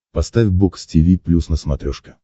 поставь бокс тиви плюс на смотрешке